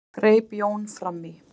greip Jón fram í.